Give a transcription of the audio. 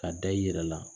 Ka da i yɛrɛ la